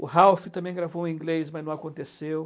O Ralph também gravou em inglês, mas não aconteceu.